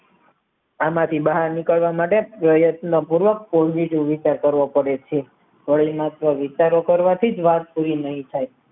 આ માંથી બહાર નીકરવા માટે રોયટના પૂર્વક કોઈ બીજો વિસ્તાર કરવો પડે છે હવે માત્ર વિચારો કરવાથી જ વાત પુરી નહિ થઈ